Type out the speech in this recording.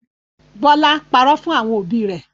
Bọlá párọ̀ fún àwọn òbí rẹ̀